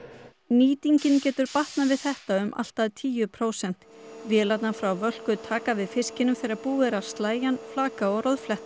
nýtingin getur batnað við þetta um allt að tíu prósent vélarnar frá Völku taka við fiskinum þegar búið að að slægja hann flaka og